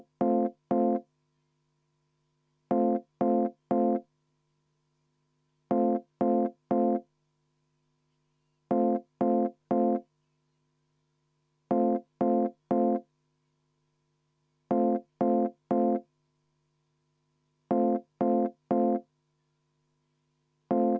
Meil on tehnilised probleemid.